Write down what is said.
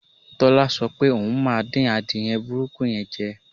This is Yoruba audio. Tọ́lá so̩ pé òun máa dín adìye̩ burúkú ye̩n je̩